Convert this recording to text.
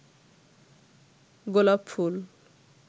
গোলাপফুল